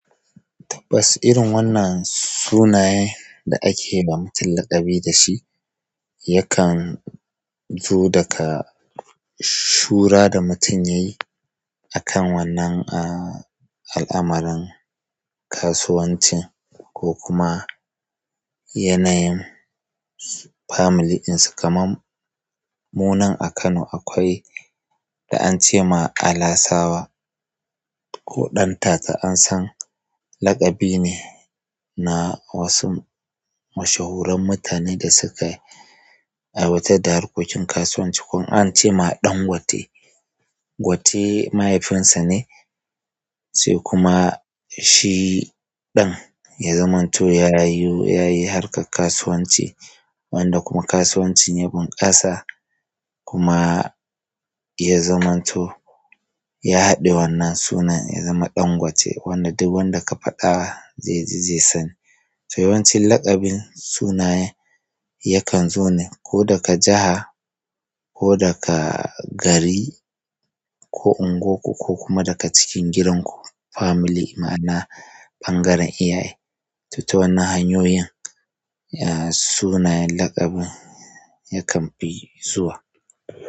Tabbas irin wannan sunaye da ake ma mutum laƙabi da shi yakan zo daga shura da mutum ya yi akan wannan ah al'amuran kasuwanci ko kuma yanayin family ɗinsa kamar mu nan a Kano akwai da an ce ma Alasawa ko Ɗantata an san laƙabi ne na wasu mashahuran mutane da suka aiwatar da harkokin kasuwanci ko in an ce ma dangote gote mahaifinsa ne sai kuma shi ɗan ya zamanto ya yi ya yi harkar kasuwanci wanda kuma kasuwancin ya bunƙasa kuma ya zamanto ya haɗe wannan sunan ya zama Ɗangote wanda duk wanda ka faɗa zai ji zai sani to yawanci laƙabin sunaye yakan zo ne ko daga jaha ko daga gari ko unguwanku ko kuma daga cikin gidanku family ma'ana ɓangaren iyaye to to wannan hanyoyin sunayen laƙabin yakan fi zuwa.